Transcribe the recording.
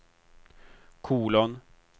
kolon